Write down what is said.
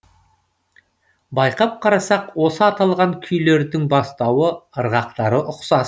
байқап қарасақ осы аталған күйлердің басталуы ырғақтары ұқсас